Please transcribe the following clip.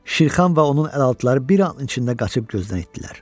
Şirxan və onun əlaltıları bir anın içində qaçıb gözdən itdiler.